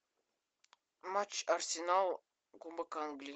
матч арсенал кубок англии